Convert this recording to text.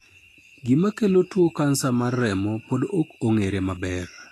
Gima kelo tuo kansa mar remo pod ok ong'ere maber.